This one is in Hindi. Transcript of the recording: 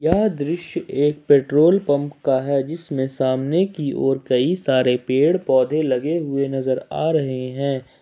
यह दृश्य एक पेट्रोल पंप का है जिसमें सामने की ओर कई सारे पेड़ पौधे लगे हुए नजर आ रहे हैं।